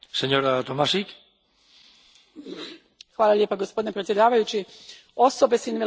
Gospodine predsjedniče, osobe s invaliditetom jedna su od najranjivijih društvenih skupina.